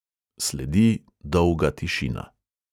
Sledi dolga tišina.